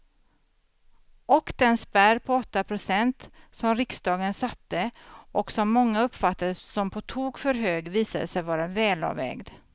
Och den spärr på åtta procent som riksdagen satte och som många uppfattade som på tok för hög visade sig vara välavvägd.